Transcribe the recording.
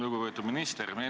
Lugupeetud minister!